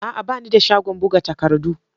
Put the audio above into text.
A'a! Ba ni da shagon buga takardu.